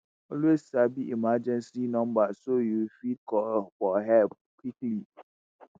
always sabi emergency numbers so yu fit call for help quickly.